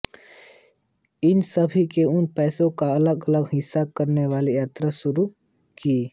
उन सभी ने उस पैसे को अलग से हासिल करने के लिए यात्रा शुरू की